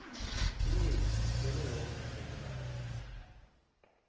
inyezi ivele yoke ngepelaveke